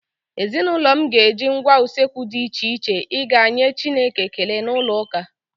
Ezinụlọ m ga-eji ngwá usekwu dị iche iche ịga ịnye chineke ekele n'ụlọụka.